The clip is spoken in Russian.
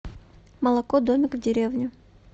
молоко домик в деревне